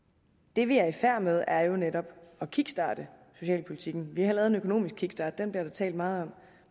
det vi er i færd med er jo netop at kickstarte socialpolitikken vi har lavet en økonomisk kickstart og den bliver der talt meget om